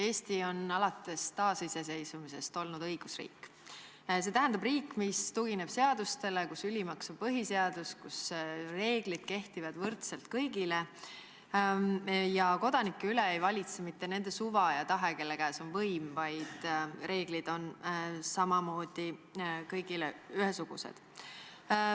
Eesti on alates taasiseseisvumisest olnud õigusriik – see tähendab riik, mis tugineb seadustikule, kus ülimaks on põhiseadus, kus reeglid kehtivad võrdselt kõigile ja kus kodanike üle ei valitse mitte nende suva ja tahe, kelle käes on võim, vaid reeglid on kõigile ühesugused.